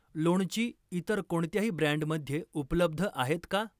लोणची इतर कोणत्याही ब्रँडमध्ये उपलब्ध आहेत का?